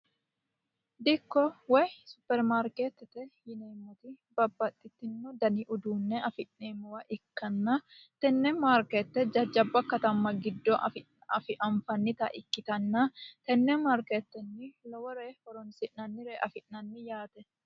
Dikko woyi superimaariketete yineemmoti babbaxxitino dani uduune afi'neemmowa ikkanna tene markete jajjabba katama giddo anfannitta ikkittanna tene marikete lowore horonsi'nannire afi'nanni yaate.